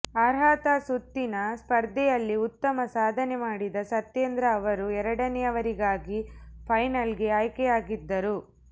ಅರ್ಹತಾ ಸುತ್ತಿನ ಸ್ಪರ್ಧೆಯಲ್ಲಿ ಉತ್ತಮ ಸಾಧನೆ ಮಾಡಿದ ಸತ್ಯೇಂದ್ರ ಅವರು ಎರಡನೇಯವರಾಗಿ ಫೈನಲ್ಗೆ ಆಯ್ಕೆಯಾಗಿದ್ದರು